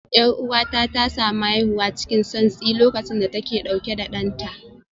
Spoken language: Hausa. Yar'uwata ta samu haihuwa cikin santsi lokacin da take dauke da danta